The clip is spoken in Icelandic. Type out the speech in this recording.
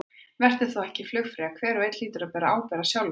Vertu þá ekki flugfreyja, hver og einn hlýtur að bera ábyrgð á sjálfum sér.